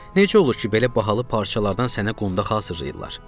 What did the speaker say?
Necə olur ki, belə bahalı parçalardan sənə qondax hazırlayırlar?